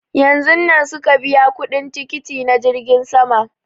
Yanzun nan suka biya kuɗin tikiti na jirgin sama